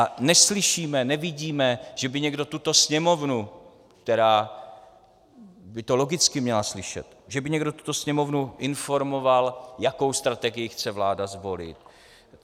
A neslyšíme, nevidíme, že by někdo tuto Sněmovnu, která by to logicky měla slyšet, že by někdo tuto Sněmovnu informoval, jakou strategii chce vláda zvolit.